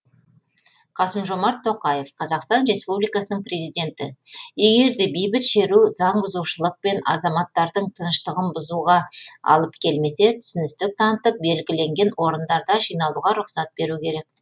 қасым жомарт тоқаев қазақстан республикасының президенті егер де бейбіт шеру заңбұзушылық пен азаматтардың тыныштығын бұзуға алып келмесе түсіністік танытып белгіленген орындарда жиналуға рұқсат беру керек